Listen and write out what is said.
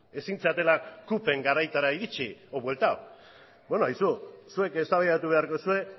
ezin zaretela cupen garaira iritsi edo bueltatu beno aizue zuek eztabaidatu beharko duzue